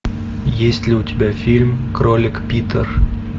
есть ли у тебя фильм кролик питер